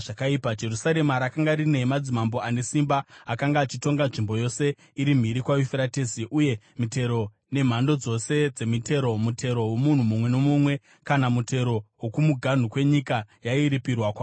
Jerusarema rakanga rine madzimambo ane simba akanga achitonga nzvimbo yose iri mhiri kwaYufuratesi, uye mitero, nemhando dzose dzemitero, mutero womunhu mumwe nomumwe, kana mutero wokumuganhu kwenyika, yairipirwa kwavari.